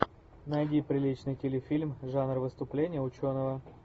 найди приличный телефильм жанр выступление ученого